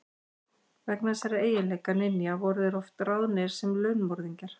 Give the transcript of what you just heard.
Vegna þessara eiginleika ninja voru þeir oft ráðnir sem launmorðingjar.